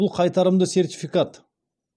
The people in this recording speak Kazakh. бұл қайтарымды сертификат